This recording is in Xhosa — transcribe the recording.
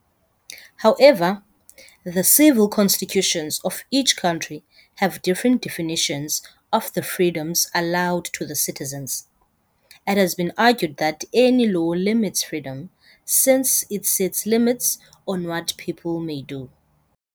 However, the civil constitutions of each country have different definitions of the freedoms allowed to the citizens. It has been argued that any law limits freedom, since it sets limits on what people may do.